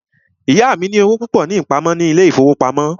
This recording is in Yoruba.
Ìyá mí ní owó púpọ ní ìpamọ́ ní ilé ìfọwọ́pamo.